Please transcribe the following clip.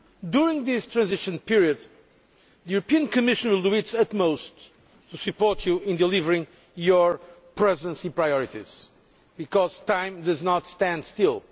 During this transition period, the Commission will do its utmost to support you in delivering your Presidency priorities, because time does not stand still.